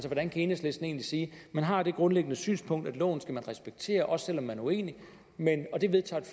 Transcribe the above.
hvordan kan enhedslisten egentlig sige man har det grundlæggende synspunkt at loven skal man respektere også selv om man er uenig det vedtager